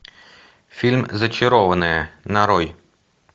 фильм зачарованные нарой